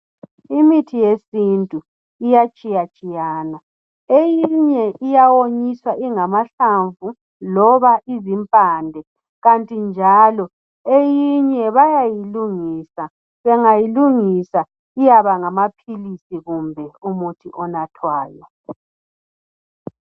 Imithi yesintu iyatshiyatshiyana. Eyinye iyawonyiswa ingamahlamvu, loba izimpande. Kanti njalo eyinye bayayilungisa, bangayilungisa iyaba ngamaphilisi kumbe umuthi onathwayo.